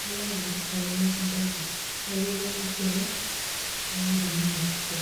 nilak mpisaai nikintaki nepiki engarri ino nambai ng'ejuko.